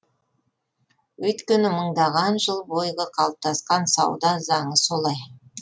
өйткені мыңдаған жыл бойғы қалыптасқан сауда заңы солай